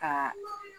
Ka